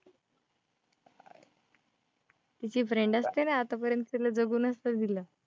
तिची friend असते ना, आतापर्यंत तिला जगू नसतं दिलं.